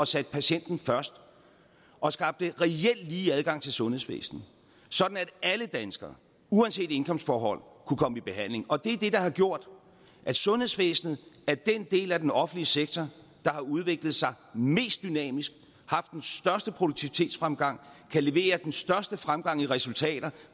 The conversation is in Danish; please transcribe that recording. satte patienten først og skabte reel lige adgang til sundhedsvæsenet sådan at alle danskere uanset indkomstforhold kunne komme i behandling og det er det der har gjort at sundhedsvæsenet er den del af den offentlige sektor der har udviklet sig mest dynamisk haft den største produktivitetsfremgang kan levere den største fremgang i resultater